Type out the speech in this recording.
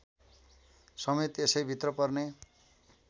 समेत यसैभित्र पर्ने